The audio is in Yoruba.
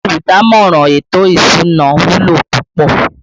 Olùdámọ̀ràn ètò ìsúná wúlò púpọ̀